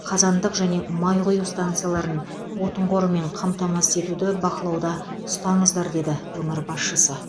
қазандық және май құю станцияларын отын қорымен қамтамасыз етуді бақылауда ұстаңыздар деді өңір басшысы